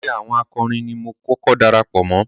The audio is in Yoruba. Ẹgbẹ́ àwọn akọrin ni mo kọ́kọ́ darapọ̀ mọ́.